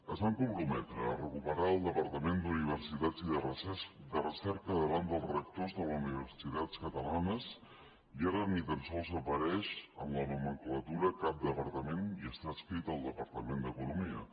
es van comprometre a recuperar el departament d’universitats i de recerca davant dels rectors de les universitats catalanes i ara ni tan sols apareix en la nomenclatura cap departament i està adscrit al departament d’economia